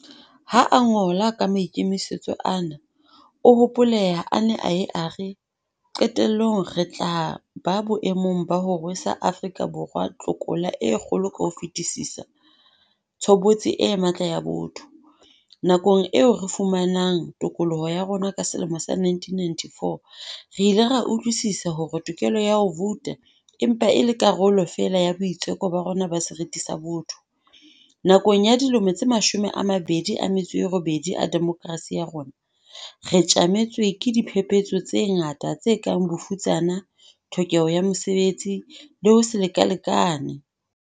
Ha a ngola ka maikemisetso ana, o hopoleha a ne a ye a re, "Qetellong re tla ba boemong ba ho rwesa Afrika Borwa tlokola e kgolo ka ho fetisisa - tshobotsi e matla ya botho."Nakong eo re fumanang tokoloho ya rona ka selemo sa 1994, re ile ra utlwisisa hore tokelo ya ho vouta e mpa e le karolo feela ya boitseko ba rona ba seriti sa botho. Nakong ya dilemo tse mashome a mabedi a metso e robedi a demokrasi ya rona, re tjametswe ke diphephetso tse ngata, tse kang bofutsana, tlhokeho ya mesebetsi le ho se lekalekane.